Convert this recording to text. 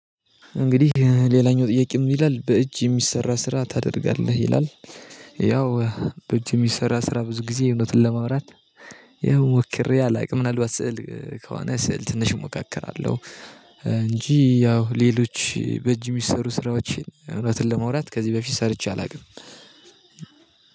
እንግዲህ ሌላኛው ጥያቄ ምን ይላል በእጅ የሚሰራ ስራ ታደርጋለህ? ይላል ያው በእጅ የሚሰራ ስራ ብዙ ጊዜ እውነትን ለማምራት ያው ሞክሬ አላውቅም ምናልባት ስዕል ከሆነ ስዕል ትንሽ እሞካከራለሁ እንጂ ያው ሌሎች በእጅ የሚሰሩ ስራዎችን እውነትን ለመውራት ከዚህ በፊት ሰርቼ አላውቅም።